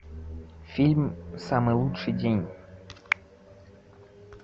фильм самый лучший день